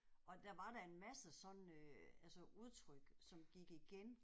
Og der var da en masse sådan øh altså udtryk som gik igen